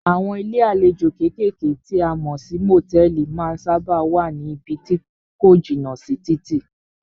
Àwọn ilé àlejò kékèké tí a mọ̀ sí motẹ̀ẹ̀li má ń sábáà wá ní ibí tí ko jìnà sí títì.